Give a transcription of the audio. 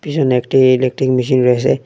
পিসনে একটি electric machine রয়েছে।